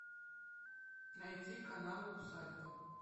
найти канал усадьба